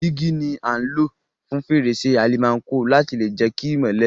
Dígí ni a n lo fún fèrèsé almanco láti lè jẹ ki ìmọ́lẹ̀